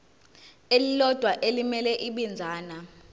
elilodwa elimele ibinzana